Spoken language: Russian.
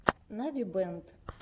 навибэнд